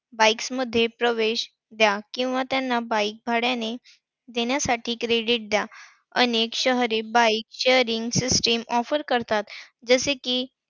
Bikes मध्ये प्रवेश द्या किंवा त्यांना bike भाड्याने देण्यासाठी credit द्या. अनेक शहरी bike sharing system offer करतात. जसे कि,